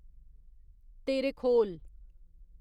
Terekhol